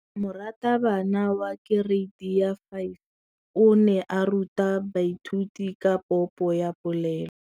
Moratabana wa kereiti ya 5 o ne a ruta baithuti ka popô ya polelô.